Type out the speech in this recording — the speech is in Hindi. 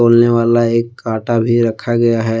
तोलने वाला एक कांटा भी रखा गया है।